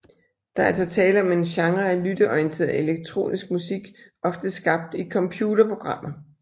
Der er altså tale om en genre af lytteorienteret elektronisk musik ofte skabt i computerprogrammer